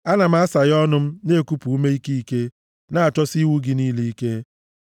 Ana m asaghe ọnụ m na-ekupụ ume ike ike, na-achọsi iwu gị niile ike.